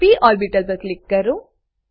પ ઓર્બીટલ પર ક્લિક કરો